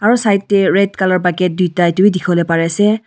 aru side teh red colour bucket duita itu wii dikhiwole pari ase.